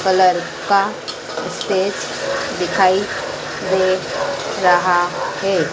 Colour का stage दिखाई दे रहा है।